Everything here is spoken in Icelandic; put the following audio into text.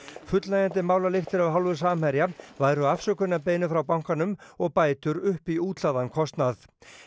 fullnægjandi málalyktir af hálfu Samherja væru afsökunarbeiðni frá bankanum og bætur upp í útlagðan kostnað